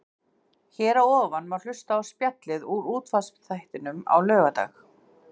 Hér að ofan má hlusta á spjallið úr útvarpsþættinum á laugardag.